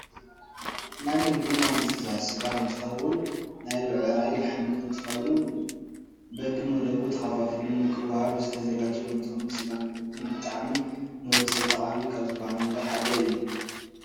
ናይ ምግቢ ናይ እንስሳ ስጋ እንትከው ናይ ብዒራይ ፣ላሕሚ እንትከውን በብ መደቡ ተካፋፍሉ ንክዋሃብ ዝተዛጋጀወ እንትከውን ስጋ ማለት እውን ብጣዓሚ ንወድሰብ ጠቃሚ ካብ ዝበሃሉ ነገር ሓደ እዩ።